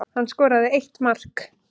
Hann skoraði eitt mark